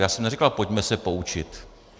Já jsem neříkal "pojďme se poučit".